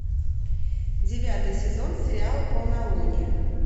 девятый сезон сериала полнолуние